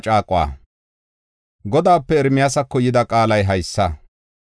Godaape Ermiyaasako yida qaalay haysa: